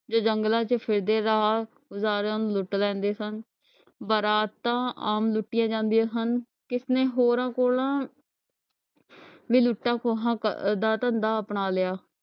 ਤੇ ਜੰਗਲਾਂ ਚ ਫਿਰਦੇ ਰਾਹਗਾਰਾ ਨੂੰ ਲੁੱਟ ਲੈਂਦੇ ਸਨ ਬਰਾਤ ਆਮ ਲੂਟੀਆਂ ਜਾਂਦੀਆਂ ਸਨ ਕਿਸਨੇ ਹੋਰਾਂ ਕੋਲ ਲੁਟੇ ਅਹ ਧੰਦਾ ਅਪਣਾ ਲਿਆ